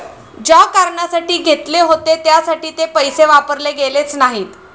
ज्या कारणासाठी घेतले होते त्यासाठी ते पैसे वापरले गेलेच नाहीत.